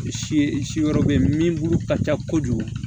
Si yɔrɔ bɛ yen min bulu ka ca kojugu